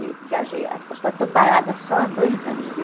Viajei a eu estou parada só há dois anos, viu?